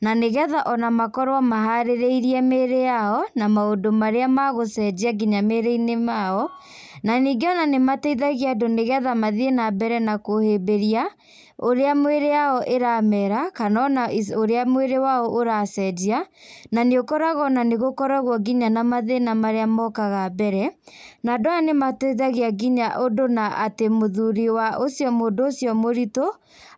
na nĩ getha ona makorwo maharĩrĩirie mĩĩri yao, maũndũ marĩa megũcenjia nginya mĩĩrĩ-inĩ mao na ningĩ ona nĩmateithagia andũ nĩgetha mathiĩ na mbere kũhĩmbĩria ũrĩa mĩĩri yao ĩrameera kana ona ũrĩa mwĩri wao ũracenjia. Na nĩũkoraga ona nĩgũkoragwo nginya ona mathĩna marĩa mokaga mbere, na andũ aya nĩmateithagia nginya ũndũ na atĩ mũthuri wa ũcĩo mũndũ ũcio mũritũ